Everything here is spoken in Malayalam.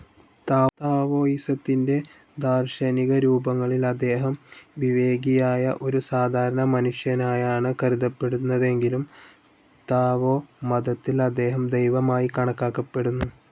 താവോയിസത്തിന്റെ ദാർശനികരൂപങ്ങളിൽ അദ്ദേഹം വിവേകിയായ ഒരു സാധാരണ മനുഷ്യനായാണ്‌ കരുതപ്പെടുന്നതെങ്കിലും താവോ മതത്തിൽ അദ്ദേഹം ദൈവമായി കണക്കാക്കപ്പെടുന്നു.